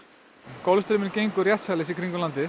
Golfstraumurinn gengur réttsælis í kringum landið